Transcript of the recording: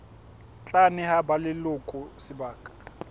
tla neha ba leloko sebaka